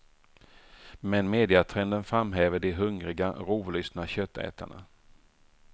Men mediatrenden framhäver de hungriga, rovlystna köttätarna.